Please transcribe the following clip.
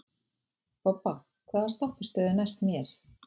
Bobba, hvaða stoppistöð er næst mér?